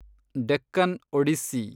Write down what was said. Deccan Odissi